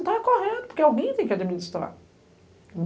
Então é correto, porque alguém tem que administrar.